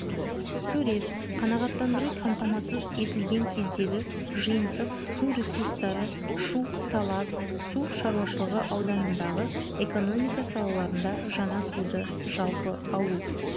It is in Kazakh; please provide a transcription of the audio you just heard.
сурет қанағаттандыру қамтамасыз етілген кездегі жиынтық су ресурстары шу-талас су шаруашылығы ауданындағы экономика салаларында жаңа суды жалпы алу